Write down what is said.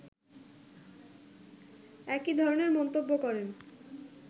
একই ধরনের মন্তব্য করেন